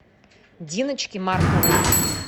диночке марковой